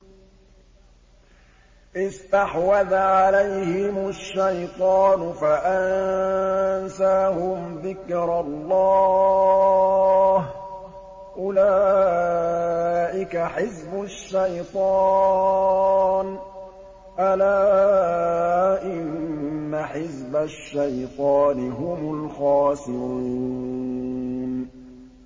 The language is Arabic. اسْتَحْوَذَ عَلَيْهِمُ الشَّيْطَانُ فَأَنسَاهُمْ ذِكْرَ اللَّهِ ۚ أُولَٰئِكَ حِزْبُ الشَّيْطَانِ ۚ أَلَا إِنَّ حِزْبَ الشَّيْطَانِ هُمُ الْخَاسِرُونَ